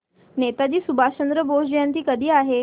नेताजी सुभाषचंद्र बोस जयंती कधी आहे